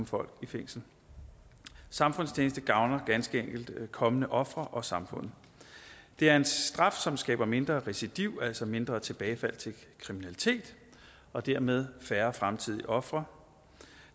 folk i fængsel samfundstjeneste gavner ganske enkelt kommende ofre og samfundet det er en straf som skaber mindre recidiv altså mindre tilbagefald til kriminalitet og dermed færre fremtidige ofre